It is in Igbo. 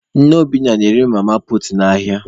Nne Obinna na-ere nri mama puutu n'ahịa.